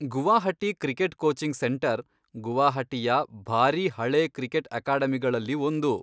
Guwahati cricket coaching centre ಗುವಾಹಟಿಯ ಭಾರೀ ಹಳೇ ಕ್ರಿಕೆಟ್ ಅಕಾಡೆಮಿಗಳಲ್ಲಿ ಒಂದು.